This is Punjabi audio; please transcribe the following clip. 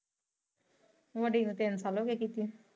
ਵੱਡੀ ਨੂ ਤਿੰਨ ਸਾਲ ਹੋਗਏ ਕੀਤੀ ਨੂੰ।